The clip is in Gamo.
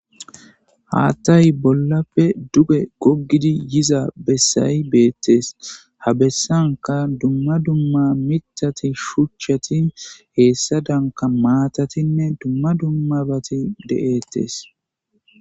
Haththay bollafe duge gogid yiza besay betes. Ha besanka duma duma miththat shuchat hesadanika matatine duma duma bat de7etes.